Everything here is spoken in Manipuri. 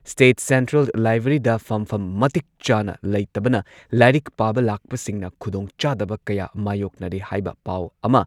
ꯁ꯭ꯇꯦꯠ ꯁꯦꯟꯇ꯭ꯔꯦꯜ ꯂꯥꯏꯕ꯭ꯔꯦꯔꯤꯗ ꯐꯝꯐꯝ ꯃꯇꯤꯛ ꯆꯥꯅ ꯂꯩꯇꯕꯅ ꯂꯥꯏꯔꯤꯛ ꯄꯥꯕ ꯂꯥꯛꯄꯁꯤꯡꯅ ꯈꯨꯗꯣꯡꯆꯥꯗꯕ ꯀꯌꯥ ꯃꯥꯌꯣꯛꯅꯔꯦ ꯍꯥꯏꯕ ꯄꯥꯎ ꯑꯃ